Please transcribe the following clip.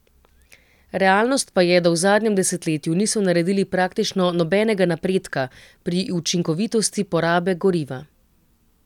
Realnost pa je, da v zadnjem desetletju niso naredili praktično nobenega napredka pri učinkovitosti porabe goriva.